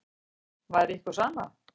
Væri ykkur sama?